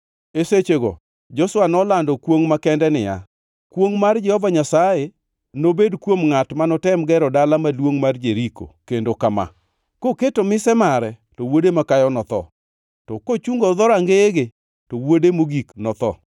E sechego Joshua nolando kwongʼ makende niya, “Kwongʼ mar Jehova Nyasaye nobed kuom ngʼat manitem gero dala maduongʼ mar Jeriko kendo kama: “Koketo mise mare, to wuode makayo notho, to kochungo dhorangeyege; to wuode mogik notho.”